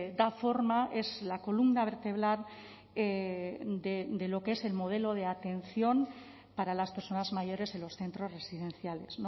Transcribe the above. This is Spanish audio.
da forma es la columna vertebral de lo que es el modelo de atención para las personas mayores en los centros residenciales